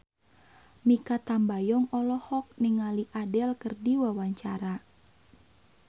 Mikha Tambayong olohok ningali Adele keur diwawancara